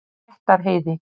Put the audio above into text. Réttarheiði